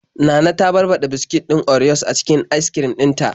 Nana ta barbaɗa biskit din orios a cikin askrim din ta.